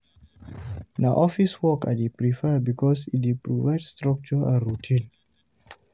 Na office work I dey prefer because e dey provide structure and routine.